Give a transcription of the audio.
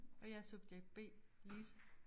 Og jeg er subjekt B Lise